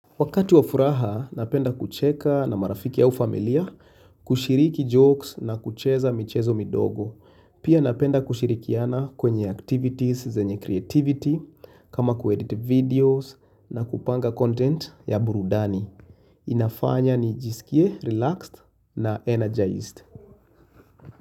Wakati wa furaha, napenda kucheka na marafiki au familia, kushiriki jokes na kucheza michezo midogo. Pia napenda kushirikiana kwenye activities zenye creativity, kama kuedit videos na kupanga content ya burudani. Inafanya nijisikie, relaxed na energized.